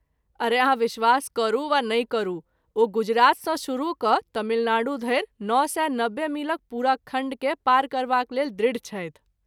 अरे अहाँ विश्वास करू वा नहि करू, ओ गुजरातसँ शुरू कऽ तमिलनाडू धरि नओ सए नबे मीलक पूरा खण्डकेँ पार करबाक लेल दृढ़ छथि।